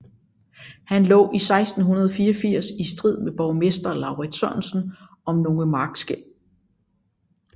Han lå 1684 i strid med borgmester Laurids Sørensen om nogle markskel